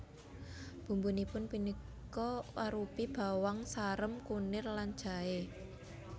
Bumbunipun punika arupi bawang sarem kunir lan jaé